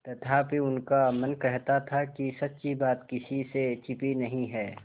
तथापि उनका मन कहता था कि सच्ची बात किसी से छिपी नहीं है